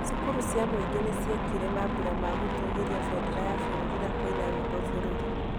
Cukuru cia mũingĩ nĩ ciekire mambura ma gũtũũgĩria bendera ya bũrũri na kũina rwĩmbo bũrũri.